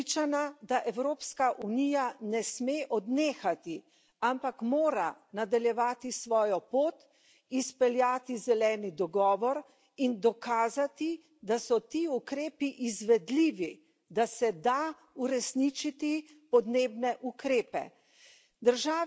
Tako sem prepričana, da Evropska unija ne sme odnehati, ampak mora nadaljevati svojo pot, izpeljati zeleni dogovor in dokazati, da so ti ukrepi izvedljivi, da se da uresničiti podnebne ukrepe.